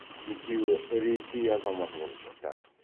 екеуі ресей азаматы болып шықты